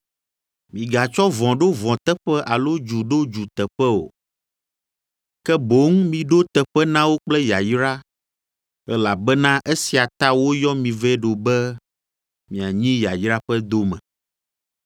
Migatsɔ vɔ̃ ɖo vɔ̃ teƒe alo dzu ɖo dzu teƒe o, ke boŋ miɖo teƒe na wo kple yayra, elabena esia ta woyɔ mi vɛ ɖo be mianyi yayra ƒe dome.